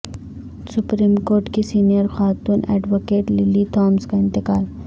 supreme court کی senior خاتون advocate Lily Thomas کا انتقال